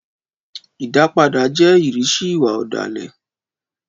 Ìdápadà jẹ́ ìrísí ìwà ọ̀dàlẹ̀